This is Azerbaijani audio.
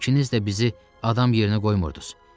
İkiniz də bizi adam yerinə qoymurdunuz.